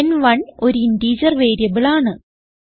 ലെൻ1 ഒരു integer variable ആണ്